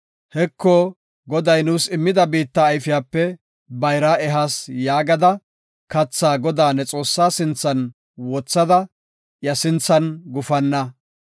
Heko, Goday nuus immida biitta ayfiyape bayraa ehas” yaagada, kathaa Godaa ne Xoossaa sinthan wothada, iya sinthan gufanna.